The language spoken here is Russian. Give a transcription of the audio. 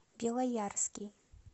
белоярский